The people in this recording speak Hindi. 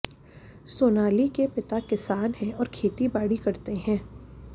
सोनाली के पिता किसान है और खेती बाड़ी करते है